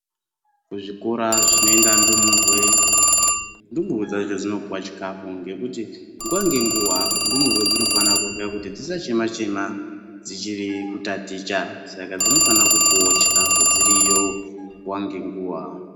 Kuzvikora zvinoenda ndumure ndumurwe dzacho dzinopuwa chikafu ngekuti nguwa ngenguwa ndumurwa dzinofana kurya kuti dzisachema chema dzichiri kutaticha Saka dzinofanawo kupuwa chikafu dziriyo nguwa ngenguwa.